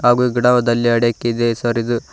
ಹಾಗೂ ಗಿಡದಲ್ಲಿ ಅಡಕ್ಕಿದೆ ಸರ್ ಇದು.